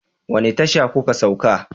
Wani tasha ku ka sauka?